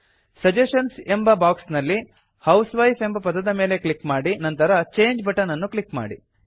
suggestions ಎಂಬ box ನಲ್ಲಿ housewife ಎಂಬ ಪದದ ಮೇಲೆ ಕ್ಲಿಕ್ ಮಾಡಿ ನಂತರ ಚಂಗೆ ಬಟನ್ ಅನ್ನು ಕ್ಲಿಕ್ ಮಾಡಿ